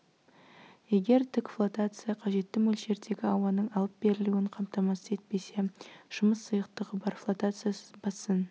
егер тік флотация қажетті мөлшердегі ауаның алып берілуін қамтамасыз етпесе жұмыс сұйықтығы бар флотация сызбасын